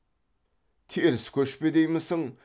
теріс көшпе деймісің